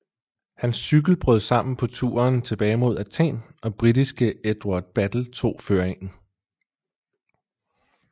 Hans cykel brød sammen på turen tilbage mod Athen og britiske Edward Battel tog føringen